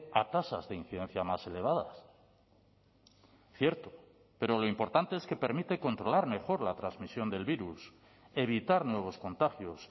a tasas de incidencia más elevadas cierto pero lo importante es que permite controlar mejor la transmisión del virus evitar nuevos contagios